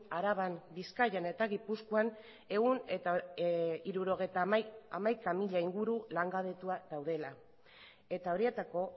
araban bizkaian eta gipuzkoan ehun eta hirurogeita hamaika mila inguru langabetu daudela eta horietako